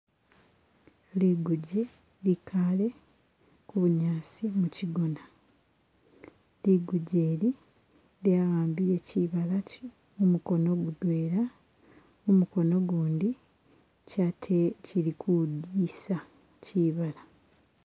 Liguje likale ku bunyasi mushigona, liguje ili lyawambile shibala mumukono mudwena, mumukono ugundi kili kwilisa shibala